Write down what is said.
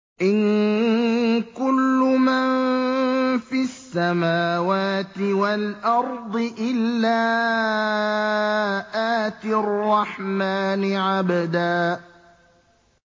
إِن كُلُّ مَن فِي السَّمَاوَاتِ وَالْأَرْضِ إِلَّا آتِي الرَّحْمَٰنِ عَبْدًا